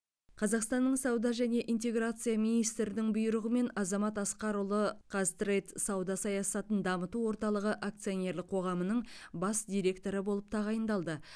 қазақстанның сауда және интеграция министрінің бұйрығымен азамат асқарұлы қаз трэйд сауда саясатын дамыту орталығы акционерлік қоғамының бас директоры болып тағайындалды